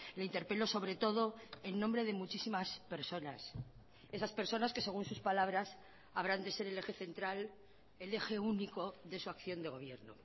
le interpelo sobre todo en nombre de muchísimas personas esas personas que según sus palabras habrán de ser el eje central el eje único de su acción de gobierno